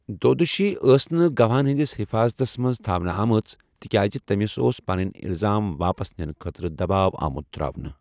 دودوشی ٲس نہٕ گَواہَن ہنٛدِس حِفاظتس منٛز تھونہٕ آمٕژ تِکیازِ تٔمِس اوس پنٕنۍ الزام واپس نِنہٕ خٲطرٕ دباؤ آمُت تراونہٕ۔